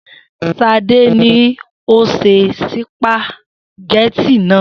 S̩ade ni ó se sìpàgé̩tì náà